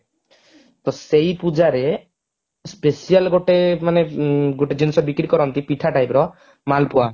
ତ ସେଇ ପୂଜାରେ special ଗୋଟେ ମାନେ ଗୋଟେ ଜିନିଷ ବିକ୍ରି କରନ୍ତି ପିଠା type ର ମାଲପୁଆ